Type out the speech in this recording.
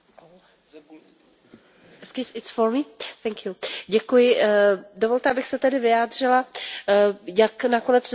Dovolte, abych se tedy vyjádřila, jak nakonec dopadlo hlasování o návrhu směrnice o energetické účinnosti.